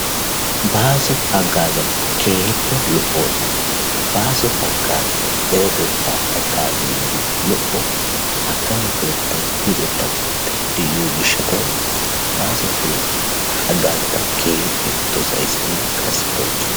Baaso haggaazati keehippe lo'oosona. Baaso haggaazay deretettaa haggaaziiddi lo'o. Akkamo keettay luxetta keettay de'iyo gishshatawu baaso keettaa haggaazaa ta keehippe dosayissinne qassi bonchchays.